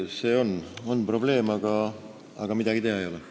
See on probleem, aga midagi teha ei ole.